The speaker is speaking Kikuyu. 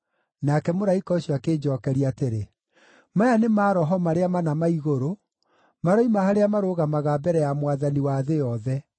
Nake mũraika ũcio akĩnjookeria atĩrĩ, “Maya nĩ maroho marĩa mana ma igũrũ, maroima harĩa marũgamaga mbere ya Mwathani wa thĩ yothe.